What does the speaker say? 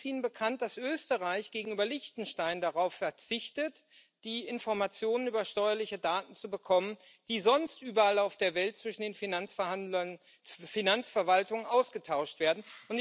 Und ist Ihnen bekannt, dass Österreich gegenüber Liechtenstein darauf verzichtet, die Informationen über steuerliche Daten zu bekommen, die sonst überall auf der Welt zwischen den Finanzverwaltungen ausgetauscht werden?